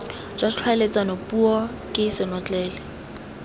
jwa tlhaeletsano puo ke senotlele